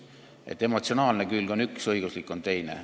Nii et emotsionaalne külg on üks, õiguslik on teine.